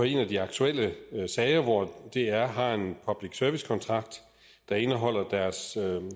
en af de aktuelle sager dr har en public service kontrakt der indeholder deres